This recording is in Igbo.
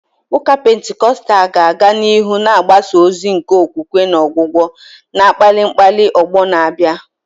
Ụka Pentikọstal ga-aga n'ihu na-agbasa ozi nke okwukwe na ọgwụgwọ, na-akpali akpali ọgbọ na-abịa.